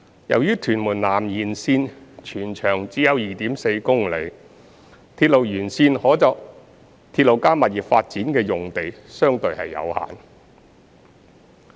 由於屯門南延綫全長只有約 2.4 公里，鐵路沿線可作"鐵路加物業"發展的用地相對有限。